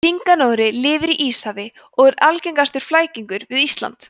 hringanóri lifir í íshafi og er algengur flækingur við ísland